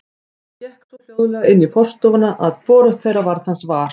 Hann gekk svo hljóðlega inn í forstofuna að hvorugt þeirra varð hans var.